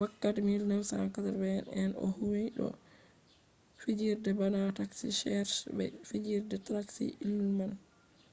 wakkati 1980 en o huwi do fijirde bana taxi cheers be fijirde tracy ullman